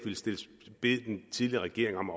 ville bede den tidligere regering om